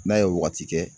N'a ye wagati kɛ